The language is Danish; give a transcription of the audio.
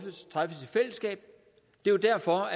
jo derfor